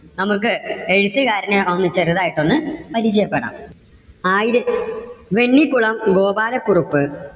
നമുക്ക് എഴുത്തുകാരനെ ഒന്ന് ചെറുതായിട്ട് ഒന്ന് പരിചയപ്പെടാം. ആയിരം വെണ്ണിക്കുളം ഗോപാല കുറുപ്പ്.